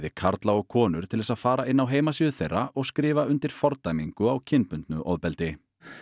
karla og konur til þess að fara inn á heimasíðu þeirra og skrifa undir fordæmingu á kynbundnu ofbeldi